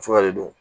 Fura de don